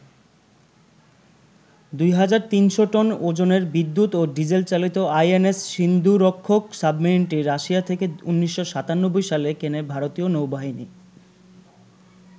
২৩০০ tonne ওজনের বিদ্যুৎ ও ডিজেলচালিত আইএনএস সিন্ধুরক্ষক সাবমেরিনটি রাশিয়া থেকে ১৯৯৭ সালে কেনে ভারতীয় নৌবাহিনী।